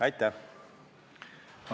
Aitäh!